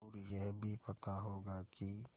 और यह भी पता होगा कि